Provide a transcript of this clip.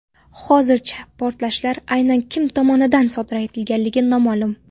Hozircha portlashlar aynan kim tomonidan sodir etilgani noma’lum.